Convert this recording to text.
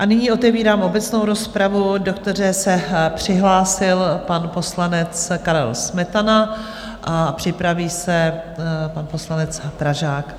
A nyní otevírám obecnou rozpravu, do které se přihlásil pan poslanec Karel Smetana, a připraví se pan poslanec Pražák.